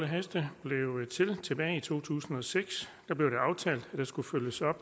heste blev til tilbage i to tusind og seks blev det aftalt at der skulle følges op